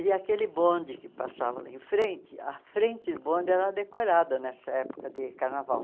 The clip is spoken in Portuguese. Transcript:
E aquele bonde que passava lá em frente, a frente do bonde era decorada nessa época de carnaval.